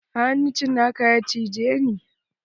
A hannu cinaka ya cije ni.